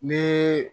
Ne